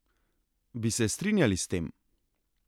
Bi se strinjali s tem?